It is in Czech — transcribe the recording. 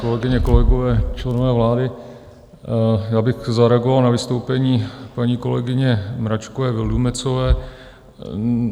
Kolegyně kolegové, členové vlády, já bych zareagoval na vystoupení paní kolegyně Mračkové Vildumetzové.